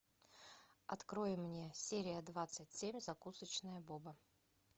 открой мне серия двадцать семь закусочная боба